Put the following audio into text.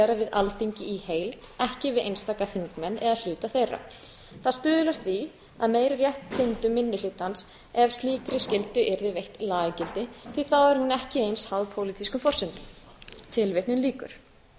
alþingi í heild ekki við einstaka þingmenn eða hluta þeirra það stuðlar því að meiri réttindum minni hlutans ef slíkri skyldu yrði veitt lagagildi því þá er hún ekki eins háð pólitískum forsendum